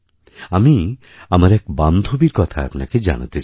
আমি আমার এক বান্ধবীর কথা আপনাকে জানাতে চাই